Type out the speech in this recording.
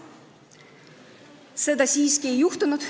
Seda siiski ei juhtunud.